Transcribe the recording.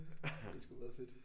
Det er sgu meget fedt